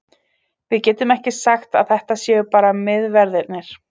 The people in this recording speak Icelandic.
Við getum ekki sagt að þetta séu bara miðverðirnir.